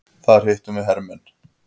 Þar hittum við hermann.